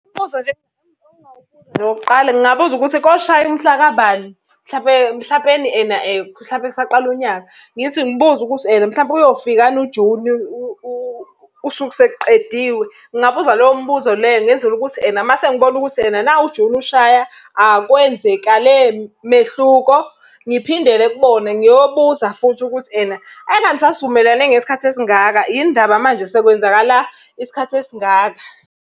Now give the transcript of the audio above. Umbuzo nje engingawubuza nje okokuqala ngingabuza ukuthi koshaya mhlaka bani, mhlampe mhlampeni ena mhlampe kusaqala unyaka. Ngithi ngibuze ukuthi, ena mhlampe uyofika yini uJuni usuku sekuqediwe? Ngingabuza leyo mbuzo leyo ngenzela ukuthi ena uma sengibona ukuthi ena nawu uJuni ushaya, akwenzekale mehluko. Ngiphindele kubona ngiyobuza futhi ukuthi ena, engani sasivumelane ngesikhathi esingaka yini ndaba manje sekwenzakala isikhathi esingaka.